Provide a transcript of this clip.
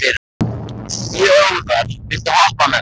Þjóðar, viltu hoppa með mér?